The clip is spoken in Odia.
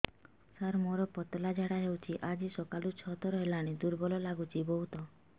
ସାର ମୋର ପତଳା ଝାଡା ହେଉଛି ଆଜି ସକାଳୁ ଛଅ ଥର ହେଲାଣି ଦୁର୍ବଳ ଲାଗୁଚି ବହୁତ